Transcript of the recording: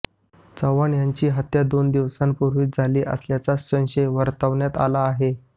चव्हाण यांची हत्या दोन दिवसांपूर्वी झाली असल्याचा संशय वर्तवण्यात आला आहे